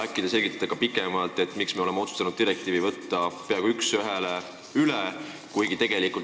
Äkki te selgitategi pikemalt, miks me oleme otsustanud direktiivi peaaegu üks ühele üle võtta?